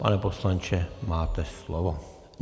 Pane poslanče, máte slovo.